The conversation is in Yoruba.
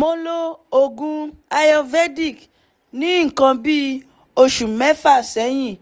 mo lo oògùn ayurvedic ní nǹkan bí oṣù mẹ́fà sẹ́yìn